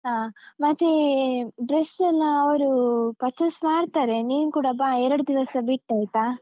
ಹಾ. ಮತ್ತೇ dress ಎಲ್ಲಾ ಅವ್ರು purchase ಮಾಡ್ತಾರೆ. ನೀನ್ ಕೂಡ ಬಾ ಎರಡು ದಿವ್ಸ ಬಿಟ್ಟ್ ಆಯ್ತಾ?